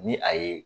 Ni a ye